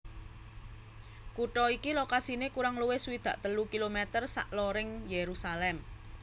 Kutha iki lokasiné kurang luwih swidak telu kilometer saloring Yerusalem